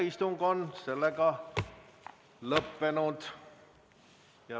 Istung on lõppenud.